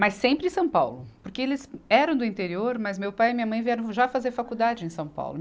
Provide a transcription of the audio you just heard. Mas sempre em São Paulo, porque eles eram do interior, mas meu pai e minha mãe vieram já fazer faculdade em São Paulo.